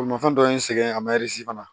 Bolimafɛn dɔ ye n sɛgɛn a ma fana